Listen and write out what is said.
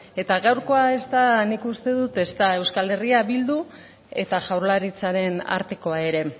eta gaurkoa ez da nik uste dut ezta euskal herria bildu eta jaurlaritzaren artekoa ere